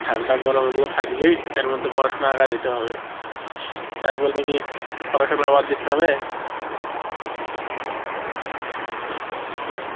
ঠান্ডা গরম এগুলো থাকবেই এর মধ্যেই পড়াশোনা আগায় যেতে হবে, তাই বলে কি পড়াশোনা বাদ দিতে হবে